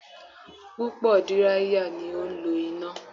Púpò díráíyà ni ó ń lọ ina